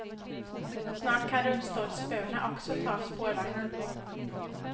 Snart kan rullstolsburna också ta spårvagnen.